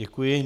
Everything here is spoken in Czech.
Děkuji.